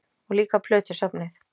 Og líka plötusafnið?